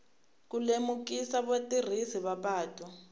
ku lemukisa vatirhisi va patu